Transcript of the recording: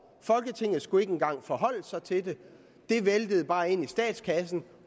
folketinget skulle ikke engang forholde sig til dem det væltede bare ind i statskassen